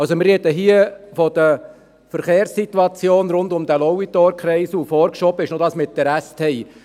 Wir reden hier also von der Verkehrssituation rund um den Lauitorkreisel, und vorgeschoben ist noch die Sache mit der STI.